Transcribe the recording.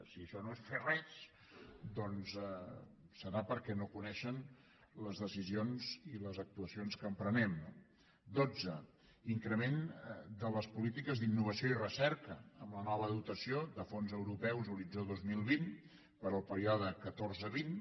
si això no és fer res doncs serà perquè no coneixen les decisions i les actuacions que emprenem no dotze increment de les polítiques d’innovació i recerca amb la nova dotació de fons europeus horitzó dos mil vint per al període catorze vint